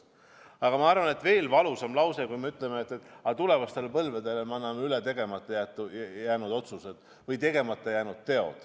Aga ma arvan, et veel valusam on, kui me ütleme, et tulevastele põlvedele me anname üle tegemata jäänud otsused või tegemata jäänud teod.